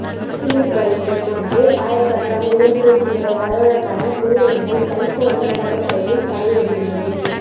சின்ன நீர் பலூன்கள் போன்று ஆயிரக்கணக்கான இளஞ்சிவப்பு நிற வழவழப்பான உயிரினங்கள் கலிபோர்னியா கடற்கரையில் கரை ஒதுங்கியது